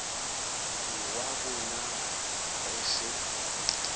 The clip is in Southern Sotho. ke wa bonaha re se